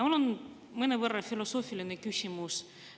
Mul on mõnevõrra filosoofiline küsimus.